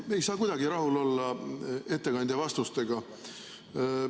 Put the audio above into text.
Me ei saa kuidagi rahul olla ettekandja vastustega.